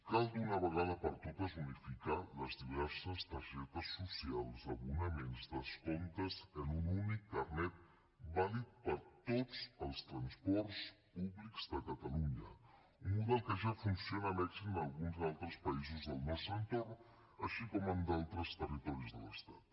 cal d’una vegada per totes unificar les diverses targetes socials abonaments descomptes en un únic carnet vàlid per a tots els transports públics de catalunya un model que ja funciona amb èxit a alguns altres països del nostre entorn així com en d’altres territoris de l’estat